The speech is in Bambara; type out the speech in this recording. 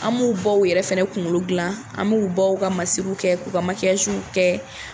An b'u baw yɛrɛ fana kunkolo dilan an b'u baw ka masiriw kɛ k'u ka kɛ